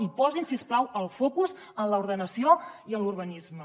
i posin si us plau el focus en l’ordenació i en l’urbanisme